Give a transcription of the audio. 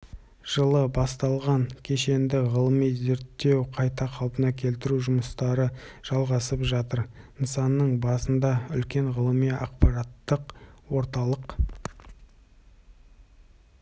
жылы басталған кешенді ғылыми-зерттеу қайта қалпына келтіру жұмыстары жалғасып жатыр нысанның басында үлкен ғылыми-ақпараттық орталық